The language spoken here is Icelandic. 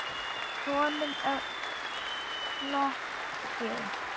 Honum er flogið.